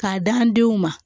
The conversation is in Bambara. K'a d'an denw ma